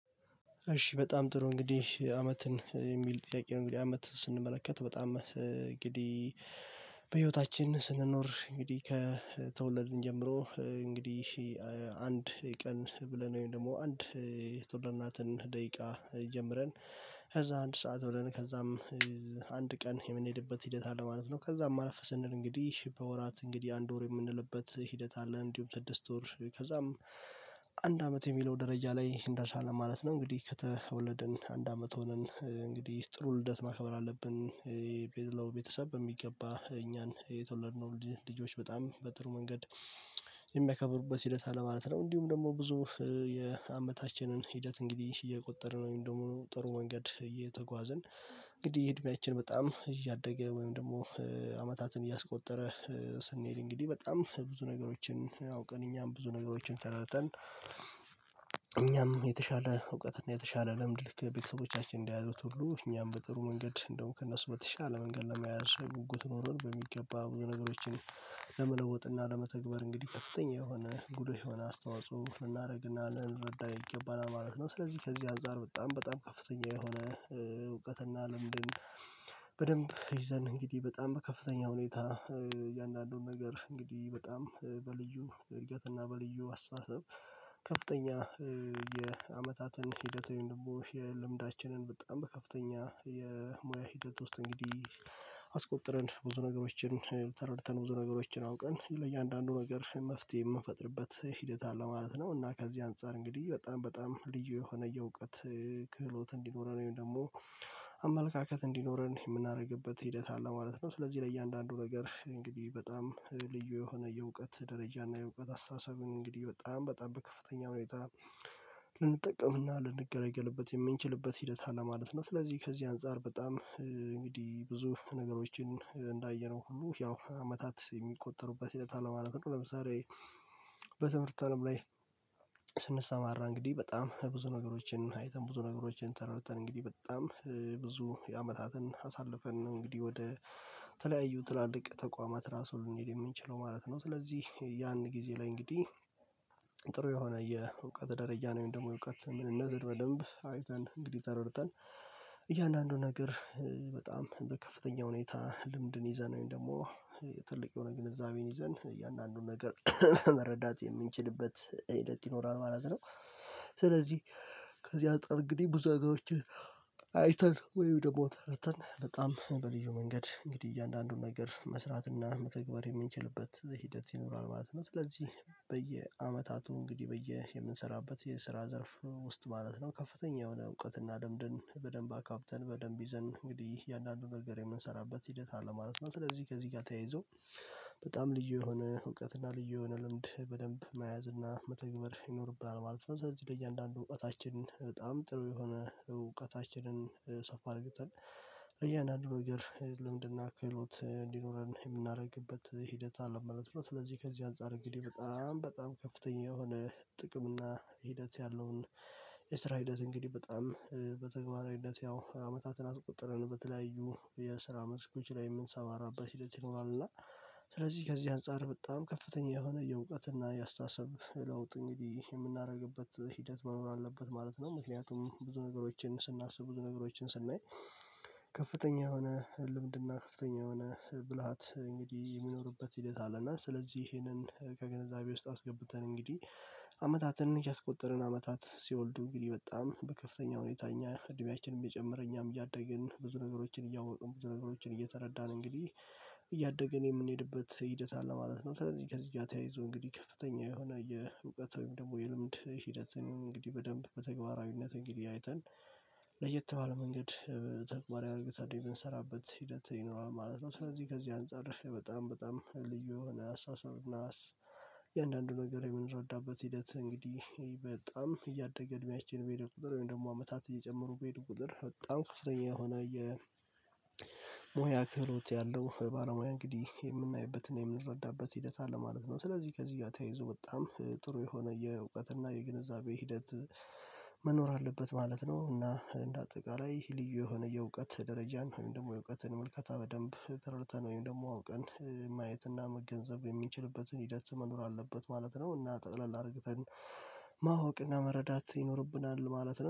እሺ በጣም ጥሩ እንግዲህ "አመትን" የሚል ጥያቄ ነው እንግዲህ አመት ስንመለከት በጣም እንግዲህ በህይወታችን ስንኖር እንግዲህ ከተወለድን ጀምሮ እንግዲህ አንድ ቀን ብለን ወይም ደግሞ አንድ የተወልድናትን ደቂቃ ጀምረን ከዛ አንድ ሰዓት ብለን ከዛም አንድ ቀን የምንሄድበት ሂደት አለ ማለት ነው ከዛም አለፍ ስንል እንግዲህ በወራት እንግዲህ አንድ ወር የምንልበት ሂደት አለ እንዲሁም ስድስት ወር ከዛም አንድ አመት የሚለው ደረጃ ላይ እንደርሳለን ማለት ነው እንግዲህ ከተወለድን አንድ አመት ሆነን እንግዲህ ጥሩ ልደት ማክበር አለብን መላው ቤተሰብ በሚገባ እኛን የተወለድነውን ልጆች በጣም በጥሩ መንገድ የሚያከብርበት ሂደት አለ ማለት ነው። እንዲሁም ደግሞ ብዙ የአመታችንን ሂደት እንግዲህ እየቆጠርን ወይ ደግሞ ጥሩ መንገድ እየተጓዝን እንግዲህ እድሜያችን በጣም እያደገ ወይም ደግሞ አመታትን እያስቆጠረ ስንሄድ እንግዲህ በጣም ብዙ ነገሮችን አውቀን እኛም ብዙ ነገሮችን ተረድተን እኛም የተሻለ እውቀትና የተሻለ ልምድ ልክ ቤተሰቦቻችን እንደያዙት ሁሉ እኛም በጥሩ መንገድ እንደውም ከእነሱ በተሻለ መንገድ ለመያዝ ጉጉት ኖሮን በሚገባ ብዙ ነገሮችን ለመለወጥና ለመተግበር እንግዲህ ከፍተኛ የሆነ ጉልህ የሆነ አስተዋጽኦ ልናደርግና ልንረዳ ይገባናል ማለት ነው። ስለዚህ ከዚህ አንፃር በጣም በጣም ከፍተኛ የሆነ እውቀትና ልምድ በደንብ ይዘን እንግዲህ በጣም በከፍተኛ ሁኔታ እያንዳንዱን ነገር እንግዲህ በጣም በልዩ እድገትና በልዩ አስተሳሰብ ከፍተኛ የአመታትን ሂደት ወይም ደግሞ የልምዳችንን በጣም በከፍተኛ የሙያ ሂደት ውስጥ እንግዲህ አስቆጥረን ብዙ ነገሮችን ተረድተን ብዙ ነገሮችን አውቀን ለእያንዳንዱ ነገር መፍትሄ የምንፈጥርበት ሂደት አለ ማለት ነው፤ እና ከዚህ አንፃር እንግዲህ በጣም በጣም ልዩ የሆነ የእውቀት ክህሎት እንዲኖረን ወይም ደግሞ አመለካከት እንዲኖረን የምናደርግበት ሂደት አለ ማለት ነው። ስለዚህ ለእያንዳንዱ ነገር እንግዲህ በጣም ልዩ የሆነ የእውቀት ደረጃ እና የእውቀት አስተሳሰብን እንግዲህ በጣም በጣም በከፍተኛ ሁኔታ ልንጠቀምና ልንገለገልበት የምንችልበት ሂደት አለ ማለት ነው። ስለዚህ ከዚህ አንፃር በጣም እንግዲህ ብዙ ነገሮችን እንዳየነው ሁሉ ያው አመታት የሚቆጠሩበት ሂደት አለ ማለት ነው። ለምሳሌ በትምህርት አለም ላይ ስንሰማራ እንግዲህ በጣም ብዙ ነገሮችን አይተን ብዙ ነገሮችን ተረድተን እንግዲህ በጣም ብዙ የአመታትን አሳልፈን እንግዲህ ወደ ተለያዩ ትላልቅ ተቋማት ራሱ ልንሄድ የምንችለው ማለት ነው። ስለዚህ ያን ጊዜ ላይ እንግዲህ ጥሩ የሆነ የእውቀት ደረጃን ወይም ደግሞ እውቀት ምንነትን በደንብ አይተን እንግዲህ ተረድተን እያንዳንዱን ነገር በጣም በከፍተኛ ሁኔታ ልምድን ይዘን ወይም ደግሞ ትልቅ የሆነ ግንዛቤን ይዘን እያንዳንዱን ነገር መረዳት የምንችልበት ሂደት ይኖራል ማለት ነው። ስለዚህ ከዚህ አንፃር እንግዲህ ብዙ ነገሮች አይተን ወይም ደግሞ ተረድተን በጣም በልዩ መንገድ እንግዲህ እያንዳንዱን ነገር መስራትና መተግበር የምንችልበት ሂደት ይኖራል ማለት ነው። ስለዚህ በየአመታቱ እንግዲህ በየ የምንሰራበት የስራ ዘርፍ ውስጥ ማለት ነው ከፍተኛ የሆነ እውቀትና ልምድን በደንብ አካብተን በደንብ ይዘን እንግዲህ እያንዳንዱን ነገር የምንሰራበት ሂደት አለ ማለት ነው። ስለዚህ ከዚህ ጋር ተያይዞ በጣም ልዩ የሆነ እውቀትና ልዩ የሆነ ልምድ በደንብ መያዝ እና መተግበር ይኖርብናል ማለት ነው። ስለዚህ ለእያንዳንዱ እውቀታችን በጣም ጥሩ የሆነ እውቀታችንን ሰፋ አድርገን ለእያንዳንዱ ነገር ልምድና ክህሎት እንዲኖረን የምናደርግበት ሂደት አለ ማለት ነው። ስለዚህ ከዚህ አንፃር እንግዲህ በጣም በጣም ከፍተኛ የሆነ ጥቅም እና ሂደት ያለውን የስራ ሂደት እንግዲህ በጣም በተግባራዊነት ያው አመታትን አስቆጥረን በተለያዩ የስራ መስኮች ላይ ምንሰማራበት ሂደት ይኖራል፤ እና ስለዚህ ከዚህ አንፃር በጣም ከፍተኛ የሆነ የእውቀት እና የአስተሳሰብ ለውጥ እንግዲህ የምናደርግበት ሂደት መኖር አለበት ማለት ነው። ምክንያቱም ብዙ ነገሮችን ስናስብ ብዙ ነገሮችን ስናይ ከፍተኛ የሆነ ልምድና ከፍተኛ የሆነ ብልሃት እንግዲህ የሚኖርበት ሂደት አለ፤ እና ስለዚህ ይሄንን ከግንዛቤ ውስጥ አስገብተን እንግዲህ አመታትን እያስቆጠርን አመታት ሲወልዱ እንግዲህ በጣም በከፍተኛ ሁኔታ እኛ እድሜያችንም እየጨመረ እኛም እያደግን ብዙ ነገሮችን እያወቅን ብዙ ነገሮችን እየተረዳን እንግዲህ እያደግን የምንሄድበት ሂደት አለ ማለት ነው። ስለዚህ ከዚህ ጋር ተያይዞ እንግዲህ ከፍተኛ የሆነ የእውቀት ወይም ደግሞ የልምድ ሂደትንም እንግዲህ በደንብ በተግባራዊነት እንግዲህ አይተን ለየት ባለ መንገድ ተግባራዊ አርግተን የምንሰራበት ሂደት ይኖራል ማለት ነው። ስለዚህ ከዚህ አንፃር በጣም በጣም ልዩ የሆነ አስተሳሰብ እና እያንዳንዱ ነገር የምንረዳበት ሂደት እንግዲህ በጣም እያደገ እድሜያችን በሄደ ቁጥር ወይም ደግሞ አመታት እየጨመሩ በሄደ ቁጥር በጣም ክፍተኛ የሆነ የሙያ ክህሎት ያለው ባለሙያ እንግዲህ የምናይበትና የምንረዳበት ሂደት አለ ማለት ነው። ስለዚህ ከዚህ ጋር ተያይዞ በጣም ጥሩ የሆነ የእውቀት እና የግንዛቤ ሂደት መኖር አለበት ማለት ነው፤ እና እንደ አጠቃላይ ልዩ የሆነ የእውቀት ደረጃን ወይም ደግሞ የእውቀትን ምልከታ በደንብ ተረድተን ወይም ደግሞ አውቀን ማየትና መገንዘብ የምንችልበትን ሂደት መኖር አለበት ማለት ነው፤ እና ጠቅለል አርግተን ማወቅና መረዳት ይኖርብናል ማለት ነው።